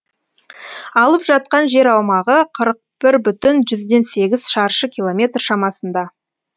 алып жатқан жер аумағы қырық бүтін жүзден сегіз шаршы километр шамасында